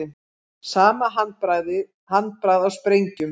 Sama handbragð á sprengjum